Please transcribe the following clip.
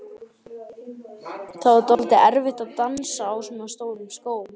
Það var dálítið erfitt að dansa á svona stórum skóm.